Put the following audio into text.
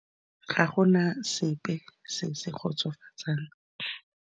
Ga gona sepe se se kgotsofatsang.